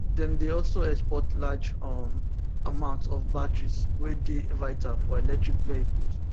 dem dey also export large um amount of batteries wey dey vital for electric vehicles